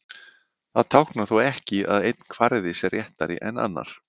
það táknar þó ekki að einn kvarði sé réttari en annar